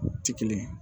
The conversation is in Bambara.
Ti kelen